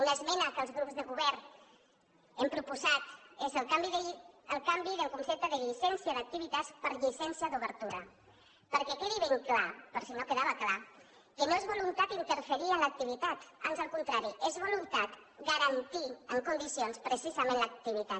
una esmena que els grups de govern hem proposat és el canvi del concepte de llicència d’activitats per llicència d’obertura perquè quedi ben clar per si no quedava clar que no és voluntat d’interferir en l’activitat ans al contrari és voluntat garantir en condicions precisament l’activitat